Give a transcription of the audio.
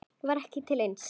Það var ekki til neins.